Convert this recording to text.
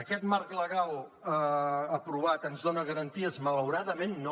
aquest marc legal aprovat ens dona garanties malauradament no